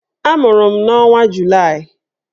Amụrụ m n'ọnwa Julaị